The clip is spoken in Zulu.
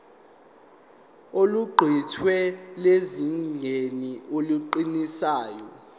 oluqukethwe lusezingeni eligculisayo